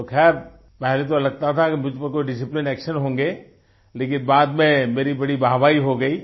तो खैर पहले तो लगता था कि मुझ पर कोई डिसिप्लिन एक्शन होंगे लेकिन बाद में मेरी बड़ी वाहवाही हो गयी